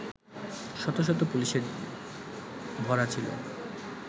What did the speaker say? শত শত পুলিশে ভরা ছিলো